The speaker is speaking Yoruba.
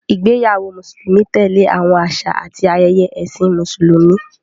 Ìgbéyàwó Mùsùlùmí tẹ̀lé àwọn àṣà àti ayẹyẹ Ẹ̀sìn Mùsùlùmí.